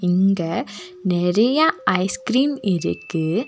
இங்க நெறைய ஐஸ்கிரீம் இருக்கு.